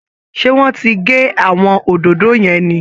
Ṣé wọ́n ti gé àwọn òdòdó yẹn ni